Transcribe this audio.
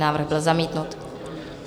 Návrh byl zamítnut.